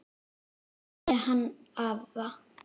Takk fyrir hann afa.